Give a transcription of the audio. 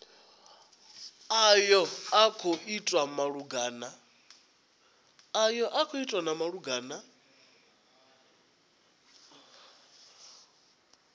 ayo a khou itwa malugana